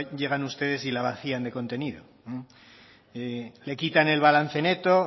llegan ustedes y la vacían de contenido le quitan el balance neto